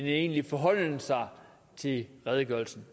egentlig forholden sig til redegørelsen